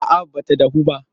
A'a ba ta dahu ba.